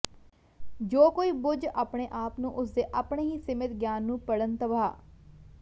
ਜੋ ਕੋਈ ਬੁੱਝ ਆਪਣੇ ਆਪ ਨੂੰ ਉਸ ਦੇ ਆਪਣੇ ਹੀ ਸੀਮਿਤ ਗਿਆਨ ਨੂੰ ਪੜ੍ਹਨ ਤਬਾਹ